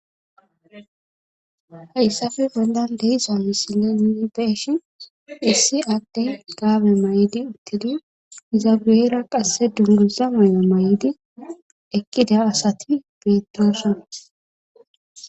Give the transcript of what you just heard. Hayssafe bolan deisa misilenii beeshi issi adde gaabe may7idi utteli izagueera qasse dunguza may7o may7idi ekkida asati bettoosona.